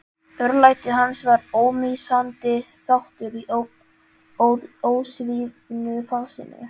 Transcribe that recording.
Örlæti hans var ómissandi þáttur í ósvífnu fasinu.